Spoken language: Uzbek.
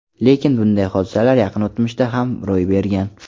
Lekin bunday hodisalar yaqin o‘tmishda ham ro‘y bergan.